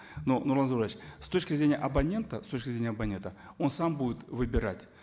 но нурлан зайроллаевич с точки зрения абонента с точки зрения абонента он сам будет выбирать